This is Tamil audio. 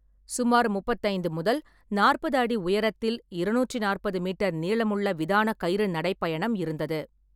சுமார் முப்பத்தைந்து முதல் நாற்பது அடி உயரத்தில் இரநூற்றி நாற்பது மீட்டர் நீளமுள்ள விதான கயிறு நடைப்பயணம் இருந்தது.